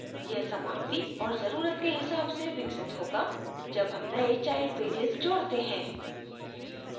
यह समाप्ति और जरूरत के हिसाब से विकसित होगा जब हम नए child pages जोडते हैं